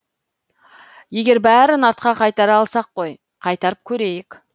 егер бәрін артқа қайтара алсақ қой қайтарып көрейік